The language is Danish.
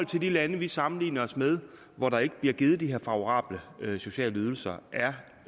til de lande vi sammenligner os med hvor der ikke bliver givet de her favorable sociale ydelser